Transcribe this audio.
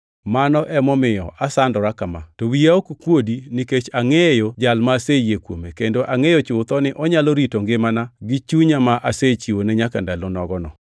Mano emomiyo asandora kama. To wiya ok kuodi, nikech angʼeyo Jal ma aseyie kuome, kendo angʼeyo chutho ni onyalo rito ngimana gi chunya ma asechiwone nyaka ndalo nogono.